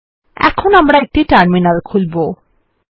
এখন আমরা একটি টার্মিনাল খুলবো